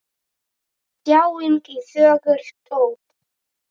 Þjáning og þögult óp!